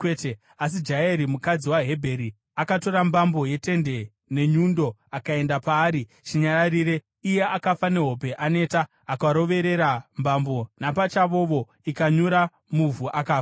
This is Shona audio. Asi Jaeri, mukadzi waHebheri, akatora mbambo yetende nenyundo akaenda paari chinyararire, iye akafa nehope, aneta. Akaroverera mbambo napachavovo, ikanyura muvhu, akafa.